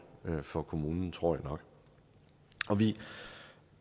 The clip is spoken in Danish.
for kommunen tror jeg nok og vi